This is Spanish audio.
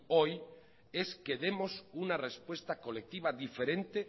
hoy es que demos una respuesta colectiva diferente